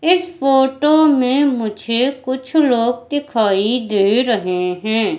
इस फोटो में मुझे कुछ लोग दिखाई दे रहे हैं।